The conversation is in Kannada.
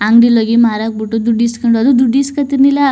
ಅಂಗಡಿಲಿ ಹೋಗಿ ಮಾರಾಕ್ ಬಿಟ್ಟು ದುಡ್ಡು ಇಸ್ಕೊಂಡ್ರು ದುಡ್ಡು ಇಸ್ಕೊಂಡ್ತಿರ್ಲಿಲ್ಲ.